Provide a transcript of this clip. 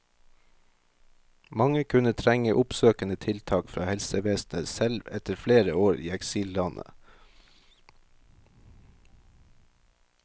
Mange kunne trenge oppsøkende tiltak fra helsevesenet, selv etter flere år i eksillandet.